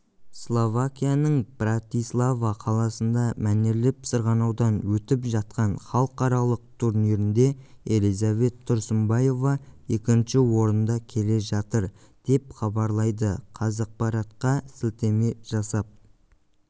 словакияның братислава қаласында мнерлеп сырғанаудан өтіп жатқан халықаралық турнирінде элизабет тұрсынбаева екінші орында келе жатыр деп хабарлайды қазақпаратқа сілтеме жасап